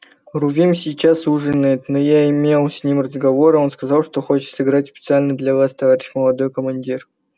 рувим сейчас ужинает но я имел с ним разговор и он сказал что хочет сыграть специально для вас товарищ молодой командир